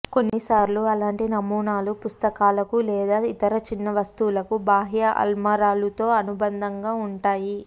కొన్నిసార్లు అలాంటి నమూనాలు పుస్తకాలకు లేదా ఇతర చిన్న వస్తువులకు బాహ్య అల్మారాలుతో అనుబంధంగా ఉంటాయి